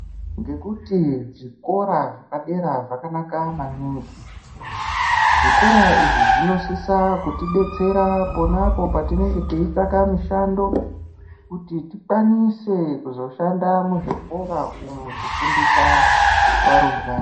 Ngekuti zvikora zvepadera zvakanaka maningi, zvikora izvi zvinosisa kuti detsera ponapo patinenge teitsvaka mishando kuti tikwanise kuzoshanda muzvikora umu kufundiswa varumbwana.